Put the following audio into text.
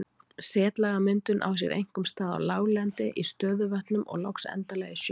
Setlagamyndun á sér einkum stað á láglendi, í stöðuvötnum og loks endanlega í sjó.